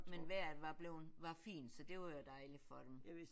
Men vejret var bleven var fint så det var jo dejligt for dem